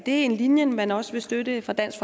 en linje man også vil støtte fra dansk